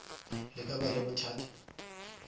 le ka ba le bothata